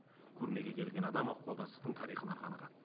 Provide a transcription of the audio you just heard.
көрмеге келген адам ықпалдастықтың тарихына қанығады